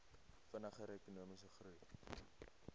vinniger ekonomiese groei